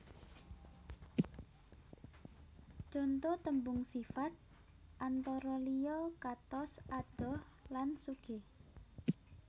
Conto tembung sifat antara liya katos adoh lan sugih